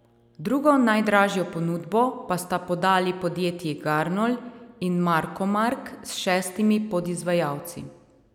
Drugo najdražjo ponudbo pa sta podali podjetji Garnol in Markomark s šestimi podizvajalci.